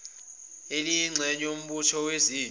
oluyingxenye yombutho wezempi